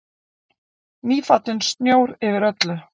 Nýfallinn snjór yfir öllu.